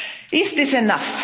Is this enough?